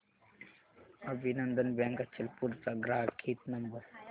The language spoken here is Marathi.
अभिनंदन बँक अचलपूर चा ग्राहक हित नंबर